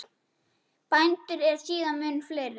Bændur eru síðan mun fleiri.